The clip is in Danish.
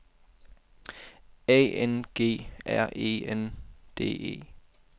A N G R E N D E